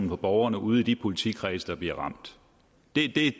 for borgerne ude i de politikredse der bliver ramt det